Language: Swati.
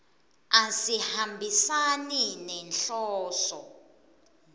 asihambisani nenhloso